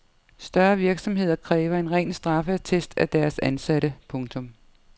Større virksomheder kræver en ren straffeattest af deres ansatte. punktum